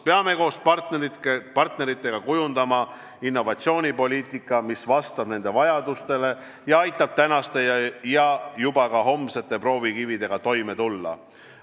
Peame koos partneritega kujundama innovatsioonipoliitika, mis vastab nende vajadustele ning aitab tänaste ja juba ka homsete proovikividega toime tulla.